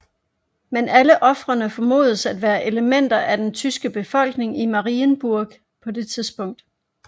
Men alle ofrene formodes at være elementer af den tyske befolkning i Marienburg på det tidspunkt